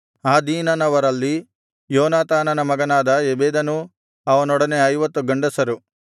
ಆದೀನನವರಲ್ಲಿ ಯೋನಾತಾನನ ಮಗನಾದ ಎಬೆದನೂ ಅವನೊಡನೆ 50 ಗಂಡಸರು